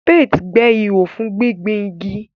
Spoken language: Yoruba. Spades gbẹ́ ihò fún gbígbin igi.